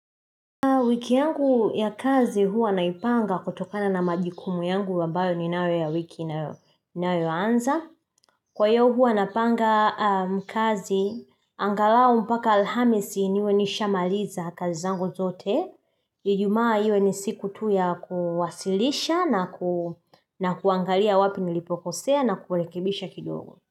Wiki yangu ya kazi huwa naipanga kutokana na majukumu yangu ambayo ninayo ya wiki inayoanza. Kwa hiyo huwa napanga kazi, angalau mpaka alhamisi niwe nishamaliza kazi zangu zote. Ijumaa iwe ni siku tu ya kuwasilisha na kuangalia wapi nilipokosea na kurekebisha kidogo.